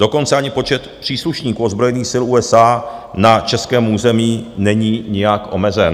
Dokonce ani počet příslušníků ozbrojených sil USA na českém území není nijak omezen.